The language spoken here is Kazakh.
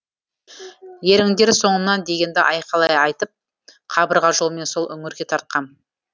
еріңдер соңымнан дегенді айқайлай айтып қабырға жолмен сол үңірге тартқам